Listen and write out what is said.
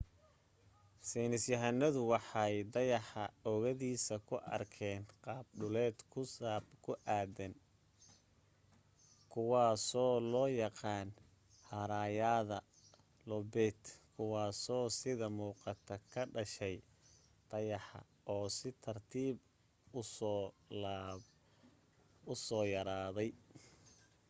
saynisyahanadu waxay dayaxa oogadiisa ku arkeen qaab dhuleed ku daadsan kuwaasoo loo yaqaan haraayada loobayt kuwaaso sida muuqata ka dhashay dayaxa oo si tartiiba u soo yaraaday